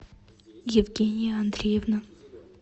евгения андреевна